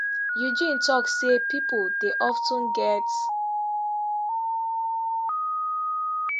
eugene tok say pipo dey of ten get